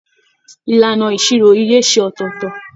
Ìlànà ìṣirò ìyè ṣe ọtọọtọ.